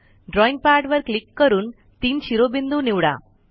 drawing पॅडवर click करून तीन शिरोबिंदू निवडा